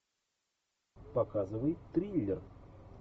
показывай триллер